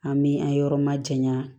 An bi an yɔrɔ ma janya